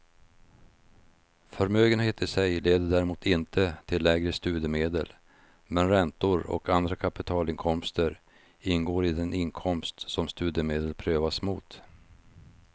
Förmögenhet i sig leder däremot inte till lägre studiemedel, men räntor och andra kapitalinkomster ingår i den inkomst som studiemedel prövas mot.